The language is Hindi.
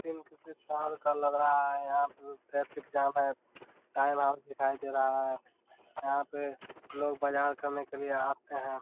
तीन किसी साल का लग रहा है यहाँ पे ट्रैफिक जाम है टाइमआउट दिखाई दे रहा है यहाँ पे लोग बजार करने के लिए आते हैं ।